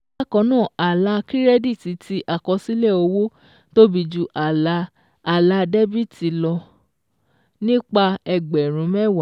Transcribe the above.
Bákan náà, àlà kírẹ́díìtì ti àkọsílẹ̀ owó tóbi ju àlà àlà dẹ́bìtì lọ nípa ẹgbẹ̀rún mẹ́wàá